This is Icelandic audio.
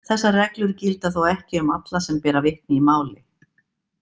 Þessar reglur gilda þó ekki um alla sem bera vitni í máli.